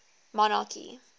monarchy